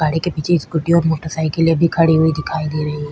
गाड़ी के पिछे एक स्कूटी और मोटरसाइकिले भी खड़ी दिखाई दे रही है।